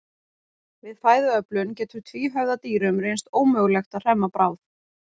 Við fæðuöflun getur tvíhöfða dýrum reynst ómögulegt að hremma bráð.